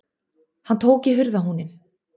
Hann tók í hurðarhúninn.